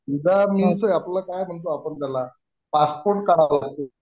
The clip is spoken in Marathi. unclear काय म्हणतो आपण त्याला पासपोर्ट काढा वा लागेल